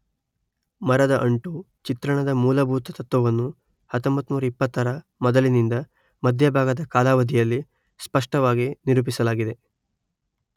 ಮರದ ಅಂಟು ಚಿತ್ರಣದ ಮೂಲಭೂತ ತತ್ವವನ್ನು ಸಾವಿರದೊಂಭೈನೂರ ಇಪ್ಪತ್ತರ ಮೊದಲಿನಿಂದ ಮಧ್ಯಭಾಗದ ಕಾಲಾವಧಿಯಲ್ಲಿ ಸ್ಪಷ್ಟವಾಗಿ ನಿರೂಪಿಸಲಾಗಿದೆ